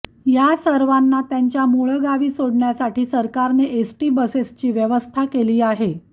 या सर्वांना त्यांच्या मूळगावी सोडण्यासाठी सरकारने एसटी बसेसची व्यवस्था केली आहे